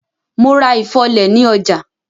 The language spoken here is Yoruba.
Mo ra ifọ́lẹ̀ ni ọjà.